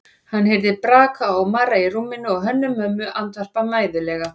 Hann heyrði braka og marra í rúminu og Hönnu-Mömmu andvarpa mæðulega.